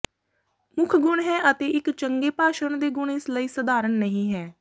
ਮੁੱਖ ਗੁਣ ਹੈ ਅਤੇ ਇੱਕ ਚੰਗੇ ਭਾਸ਼ਣ ਦੇ ਗੁਣ ਇਸ ਲਈ ਸਧਾਰਨ ਨਹੀ ਹੈ